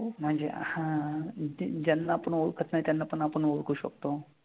म्हणजे हां. ते ज्यांना आपण ओळखत नाही त्यांना पण आपण ओळखू शकतो.